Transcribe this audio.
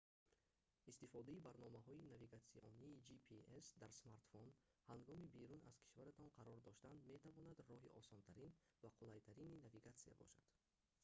истифодаи барномаҳои навигатсионии gps дар смартфон ҳангоми берун аз кишваратон қарор доштан метавонад роҳи осонтарин ва қулайтарини навигатсия бошад